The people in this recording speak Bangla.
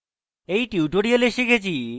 এই tutorial শিখেছি